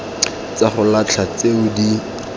tsa go latlha tse di